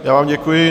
Já vám děkuji.